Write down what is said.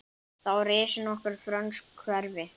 Þá risu nokkur frönsk hverfi.